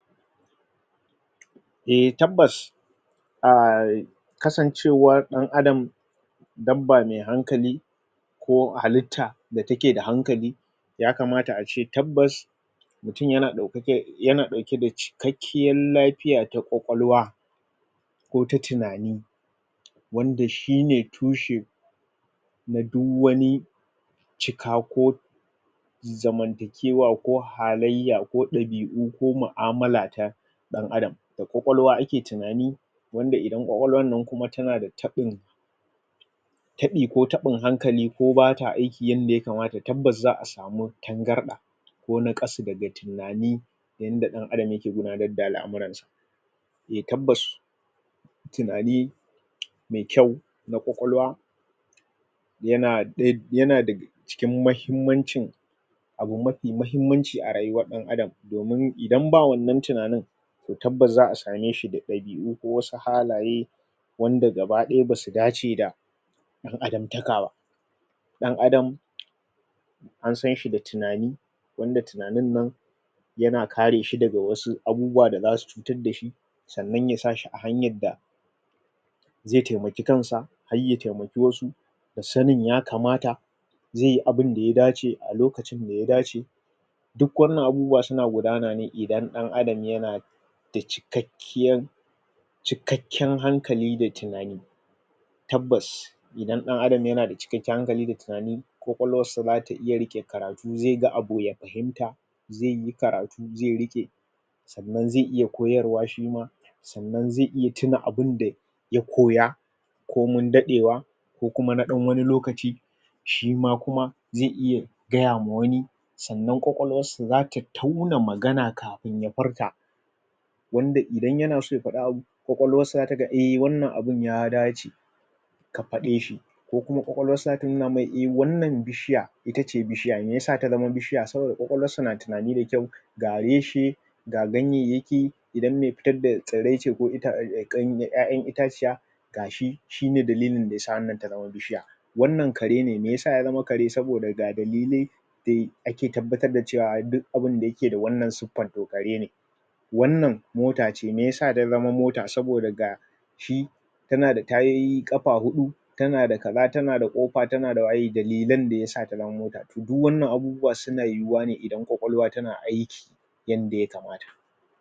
a tabbas ai kasancewa dan adam dabba mai hankali ko halitta da take da hankali ya kamata ace tabbas mutum yana daukake yana dauke da ciwo cikakken lafiya na kwakwalwa ko ta tinani wanda shine tushe na du wani cika ko zamantakewa ko halaiyya ko dabi'u ko mu'amala ta dan adam da kwakwalwa ake tunani wanda idan kwakwalwar nan kuma tana da taɓin taɓi ko taɓin hankali ko bata aiki yanda ya kamata tabbas za'a samu tangarɗa ko naƙasu daga tunani yanda da adam yake gina yana daddala al'amuran sa a tabbas tunani mai kyau na kwakwalwa yana ɗe yana da cikin mahimmancin abu mafi mahimmanci a rayuwar dan adam domin idan babu wannan tunanin ko tabbas zaa same su da dabi'u ko wasu halaye wanda gaba ɗaya basu dace da dan adam taka ba dan adam ansanshi da tunani wanda tunanin nan yana kareshi daga wasu abubuwa da zasu taddashi sannan ya sashi a hanyar da zai taimaki kansa harya ya taimaki wasu da sanin ya kamata zaiyi abinda ya dace a lokacin daya dace duk wannan abubuwan suna gudanane idan ɗan adam yana da cikakkiyan cikakken hankali da tunani tabbas idan dan adam yana da cikakken hankali da tunani kwakwalwarsa zata iya rike karatu zaiga abu ya fahimta zaiyi karatu zai riƙe sannan zai iya koyarwa shima sannan zai iya tuna abinda ya koya komin ɗaɗewa ko kuma na ɗan wani lokaci shima kuma zai iya gayama wani sannan kwakwalwarsa zata tauna magana kafin ya furta wanda idan yana son ya fada abu kwakwalwarsa taga a wannan abun ya dace ka faɗe shi ko kuma kwakwalwarsa zata nuna mai a wannan bishiya itace bishiya meyasa ta zama bishiya saboda kwakwalwarsa na tunani da kyau ga reshe ga ganyayyaki idan mai fitar da tsirrai ce ko ƴa'ƴan itaciya gashi shine dalilin dayasa wannan ta zama bishiya wannan kare ne meyasa ya zama kare saboda ga dalilai da ake tabbatar da cewa duk abinda ke da wannan suffar to kare ne wannan motace meyasa ta zamo mota saboda ga shi tana da tayoyi kafa huɗu tana da ka za tana da kofa tana da waye dalillan da yasa ta zama mota duk wannan abubuwa suna yiwuwa ne idan kwakwalwa tana aiki yanda ya kamata